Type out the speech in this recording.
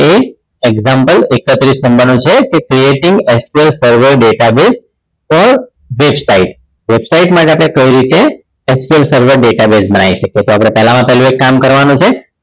એ example એક્ત્રીશ નંબરનું છે તે creative server sql data base પર website website માં આપણે કઈ રીતે SQL server database બનાઈ શકયે તો આપણે પહેલામાં પહેલું એક કામ કરવાનું છે